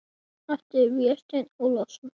eftir Véstein Ólason.